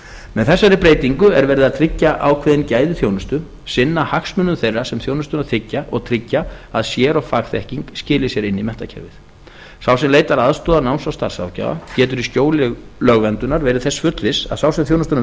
með þessari breytingu er verið að tryggja ákveðin gæði þjónustu sinna hagsmunum þeirra sem þjónustuna þiggja og tryggja að sér og fagþekking skili sér inn í menntakerfið sá sem leitar aðstoðar náms og starfsráðgjafa getur í skjóli lögverndunar verið þess fullviss að sá sem þjónustuna